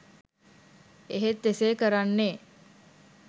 එහෙත් එසේ කරන්නේ